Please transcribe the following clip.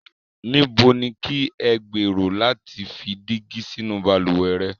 Níbo ni kí ẹ gberò lati fi dígi sínu baluwẹ̀ rẹ̀?